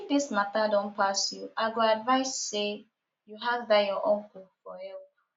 if dis matter don pass you i go advise say you ask dat your uncle for help